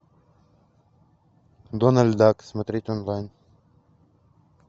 дональд дак смотреть онлайн